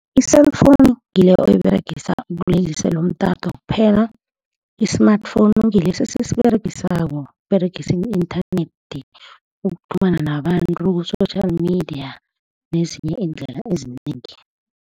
I-cellphone ngileyo oyiberegisa lomtato kuphela, i-smartphone ngilesi esisiberegisako, uberegise i-internet ukuqhumana nabantu ku-social media, nezinye iindlela ezinengi.